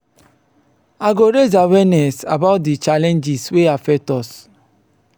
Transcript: i go raise awareness about di challenges wey affect us.